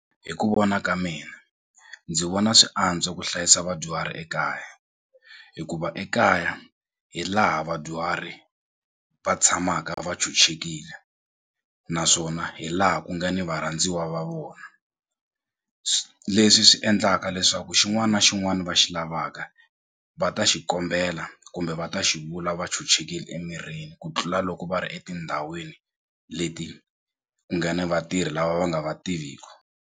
Hi ku vona ka mina ndzi vona swi antswa ku hlayisa vadyuhari ekaya hikuva ekaya hi laha vadyuhari va tshamaka va chuchekile naswona hi laha ku nga ni varhandziwa va vona leswi endlaka leswaku xin'wani na xin'wani va xi lavaka va ta xi kombela kumbe va ta xivula va chuchekile emirini ku tlula loko va ri etindhawini leti ku nga ni vatirhi lava va nga va tiviku.